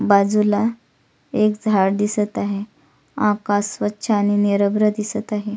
बाजूला एक झाड दिसत आहे आकाश स्वच्छ आणि निरभ्र दिसत आहे.